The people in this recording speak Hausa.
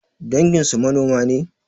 Danginsu manoma ne?